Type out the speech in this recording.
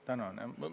Tänan!